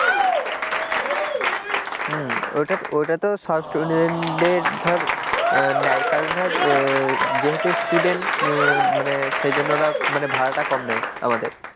হম ওটা তো ওটা তো সব first student দের ধর নেও কারণ ধর যেহেতু student মানে সেই জন্য ওরা মানে ভাড়াটা কম নেয় আমাদের,